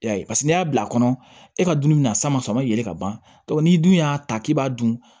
Y'a ye paseke n'i y'a bila kɔnɔ e ka dumuni bɛna sama samayɛlɛ ka ban n'i dun y'a ta k'i b'a dun